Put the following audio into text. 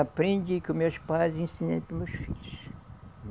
Aprendi com os meus pais e ensinei para os meus filhos.